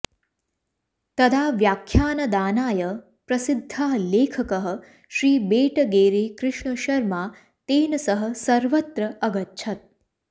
तदा व्याख्यानदानाय प्रसिद्धः लेखकः श्री बेटगेरे कृष्णशर्मा तेन सह सर्वत्र अगच्छत्